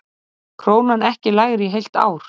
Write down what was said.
Krónan ekki lægri í heilt ár